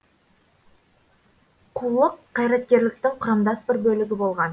қулық қайраткерліктің құрамдас бір бөлігі болған